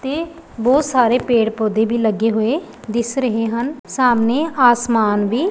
ਤੇ ਬਹੁਤ ਸਾਰੇ ਪੇੜ ਪੌਦੇ ਵੀ ਲੱਗੇ ਹੋਏ ਦਿਸ ਰਹੇ ਹਨ ਸਾਹਮਣੇ ਆਸਮਾਨ ਵੀ--